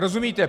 Rozumíte?